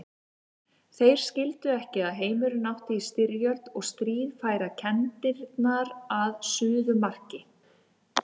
Þeir skildu ekki að heimurinn átti í styrjöld og stríð færa kenndirnar að suðumarki.